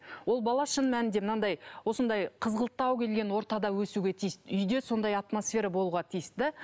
ол бала шын мәнінде мынадай осындай қызғылттау келген ортада өсуге тиісті үйде сондай атмосфера болуға тиісті